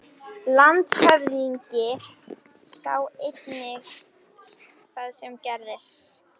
LANDSHÖFÐINGI: Sá eini sem það gerði.